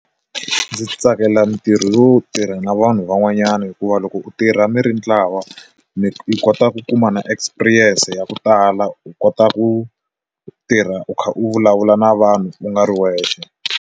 Ndzi tsakela mintirho lowo tirha na vanhu van'wanyana hikuva loko u tirha mi ri ntlawa mi kota ku kuma na experience ya ku tala u kota ku tirha u kha u vulavula na vanhu u nga ri wexe.